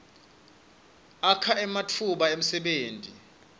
akha ematfuba emsebenti